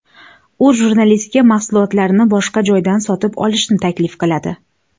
U jurnalistga mahsulotlarni boshqa joydan sotib olishni taklif qiladi.